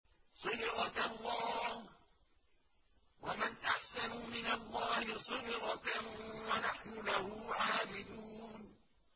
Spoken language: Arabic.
صِبْغَةَ اللَّهِ ۖ وَمَنْ أَحْسَنُ مِنَ اللَّهِ صِبْغَةً ۖ وَنَحْنُ لَهُ عَابِدُونَ